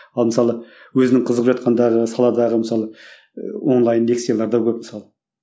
ал мысалы өзінің қызығып жатқандағы саладағы мысалы ы онлайн лекциялар да көп мысалы